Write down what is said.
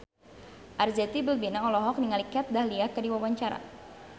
Arzetti Bilbina olohok ningali Kat Dahlia keur diwawancara